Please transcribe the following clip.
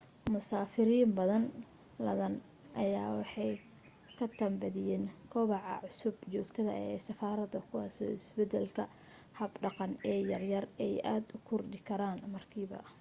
musaafiriin badano ladan ayaa waxa ka tan badiye kobaca cusub joogtada ee safarada kuwaaso isbadalka hab dhaqan ee yar yar ay aad u kordhi karaan markiiba